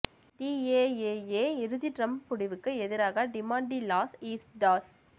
டிஏஏஏ இறுதி டிரம்ப் முடிவுக்கு எதிராக டிமாண்ட் டி லாஸ் ஈஸ்டாஸ்